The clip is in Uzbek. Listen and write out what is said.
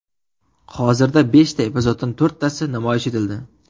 Hozirda beshta epizoddan to‘rttasi namoyish etildi.